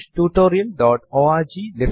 ഇതിനായി നമുക്ക് cut command ഉണ്ട്